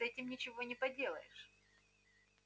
с этим ничего не поделаешь